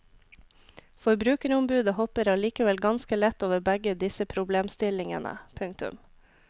Forbrukerombudet hopper allikevel ganske lett over begge disse problemstillingene. punktum